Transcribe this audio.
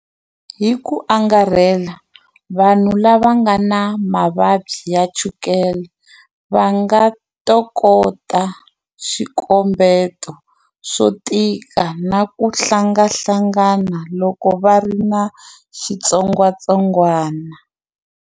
Hi ku angarhela, vanhu lava nga na mavabyi ya chukele va nga tokota swikombeto swo tika na ku hlanganahlangana loko va ri na xitsongwatsongwana.